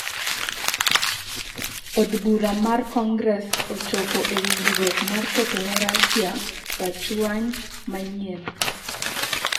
Od bura mar Congress ochopo e winjruok mar keto ne rashia rachuany manyien.